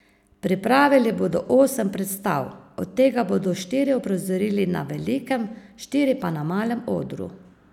Pripravili bodo osem predstav, od tega bodo štiri uprizorili na velikem, štiri pa na malem odru.